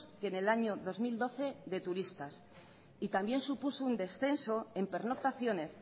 que en el año dos mil doce de turistas y también supuso un descenso en pernoctaciones